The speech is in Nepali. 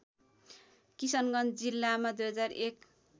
किशनगञ्ज जिल्लामा २००१